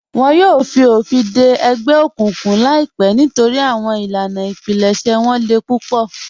Wọn yòò fi ofin dẹ ẹgbẹ okuǹkuǹ laipẹ nítorí awọn ilànà ìpílẹ̀ṣẹ̀ wọn lè púpọ̀.